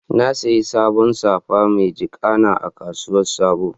Na saƴi saɓon safa ma jiƙana a kasuwar sabo.